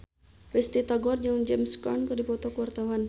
Risty Tagor jeung James Caan keur dipoto ku wartawan